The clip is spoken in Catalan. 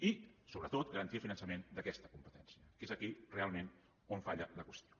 i sobretot garantia de finançament d’aquesta competència que és aquí realment on falla la qüestió